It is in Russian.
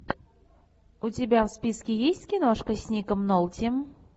у тебя в списке есть киношка с ником нолти